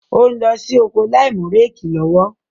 Ó ń lọ sí oko láìmú réèkì lọ́wọ́.